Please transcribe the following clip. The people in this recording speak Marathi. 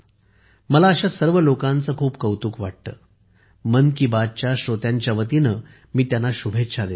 मला अशा सर्व लोकांचे खूप कौतुक वाटते मन की बातच्या श्रोत्यांच्या वतीने मी त्यांना शुभेच्छा देतो